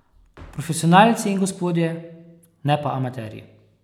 Profesionalci in gospodje, ne pa amaterji.